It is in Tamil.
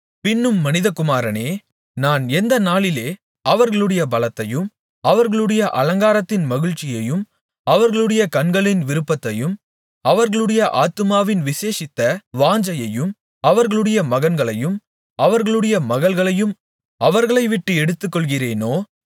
பின்னும் மனிதகுமாரனே நான் எந்த நாளிலே அவர்களுடைய பலத்தையும் அவர்களுடைய அலங்காரத்தின் மகிழ்ச்சியையும் அவர்களுடைய கண்களின் விருப்பத்தையும் அவர்களுடைய ஆத்துமாவின் விசேஷித்த வாஞ்சையையும் அவர்களுடைய மகன்களையும் அவர்களுடைய மகள்களையும் அவர்களைவிட்டு எடுத்துக்கொள்ளுகிறேனோ